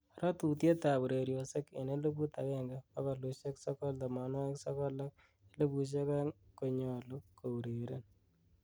ratutiet ab ureryosiek en eliput agenge bogolusiek sogol tomongwogik sogol ak elipusiek oeng' kony'olu keureren